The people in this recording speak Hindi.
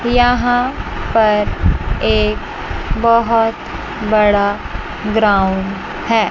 यहां पर एक बहुत बड़ा ग्राउंड है।